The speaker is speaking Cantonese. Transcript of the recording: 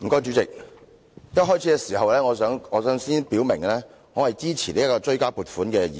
代理主席，我想在發言前先表明，我支持《追加撥款條例草案》。